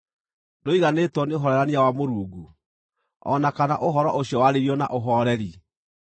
Ndũiganĩtwo nĩ ũhoorerania wa Mũrungu, o na kana ũhoro ũcio warĩirio na ũhooreri?